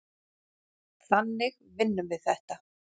Þannig vinnum við þetta.